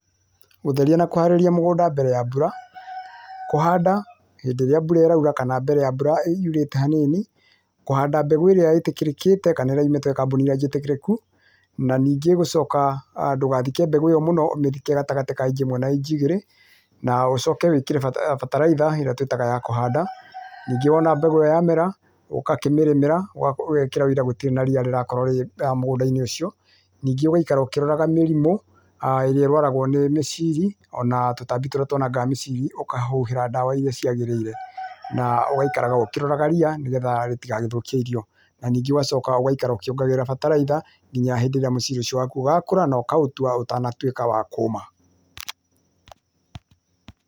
Gũtheria na kũharĩria mũgũnda mbere ya mbura, kũhanda hĩndĩ ĩrĩa mbura ĩraura kana rĩrĩa mbura yũrĩte hanini, kũhanda mbegũ ĩrĩa ĩtĩkĩrĩkĩte kana ĩrĩa yumĩte kambuni jĩtĩkĩrĩku na ningĩ gũcoka[uhh], ndũgathike mbegũ ĩyo mũno, ũthike gatagatĩ ka inji ĩmwe na inji igĩrĩ na ũcoke wĩkĩre bataraitha ĩrĩa twĩtaga ya kũhanda, nĩngĩ wona mbegũ yamera ũgakĩrĩmĩra, ũgekĩra wira gũtirĩ na ria rĩrakorwo rĩ mũgandainĩ ũcio, ningĩ ugeikara ukĩroraga mĩrimũ[uhh]ĩrĩa ĩrwaraga nĩ mĩciri ona tũtambi tũria twanangaga mĩciri ũkahuhĩra ndawa irĩa ciagĩrĩire na ũgaikara ũkĩroraga ria rĩtĩkagĩthũkie irio, ningĩ ũgacoka ũkiongagĩrĩra bataraitha nginya rĩrĩa mũciri ũcio waku ũgakũra ũtanatũĩka wa kũuma.